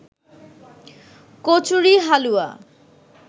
kachori, হালুয়া